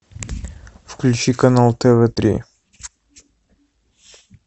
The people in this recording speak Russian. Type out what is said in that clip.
включи канал тв три